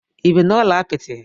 Ị bi n'ụlọ apịtị?